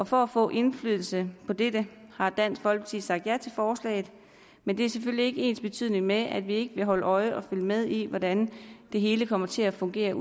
for at få indflydelse på dette har dansk folkeparti sagt ja til forslaget men det er selvfølgelig ikke ensbetydende med at vi ikke vil holde øje og følge med i hvordan det hele kommer til at fungere